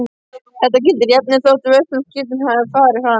Þetta gildir jafnvel þótt vörslusvipting hafi farið fram.